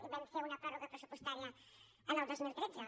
i vam fer una pròrroga pressupostària el dos mil tretze